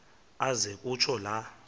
aze kutsho la